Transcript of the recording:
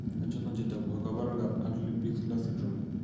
Achon chetogu ak kaborunoik ab Antley Bixler syndrome?